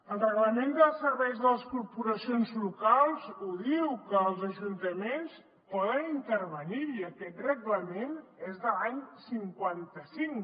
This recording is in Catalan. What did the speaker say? el reglament dels serveis de les corporacions locals ho diu que els ajuntaments poden intervenir hi i aquest reglament és de l’any cinquanta cinc